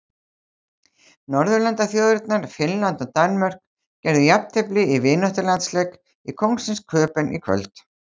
Norðurlandaþjóðirnar Finnland og Danmörk gerðu jafntefli í vináttulandsleik í Kóngsins Köben í kvöld.